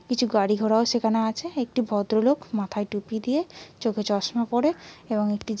কিছু কিছু গাড়ি ঘোড়াও সেখানে আছে। একটি ভদ্রলোক মাথায় টুপি দিয়ে চোখে চশমা পড়ে এবং একটি --